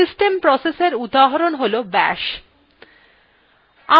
system processএর উদাহরণ হল bash